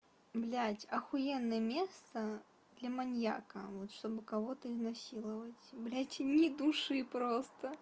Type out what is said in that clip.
блять ахуенное место для маньяка вот чтобы кого-то изнасиловать блять ни души просто